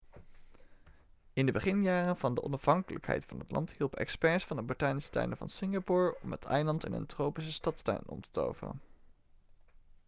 in de beginjaren van de onafhankelijkheid van het land hielpen experts van de botanische tuinen van singapore om het eiland in een tropische stadstuin om te toveren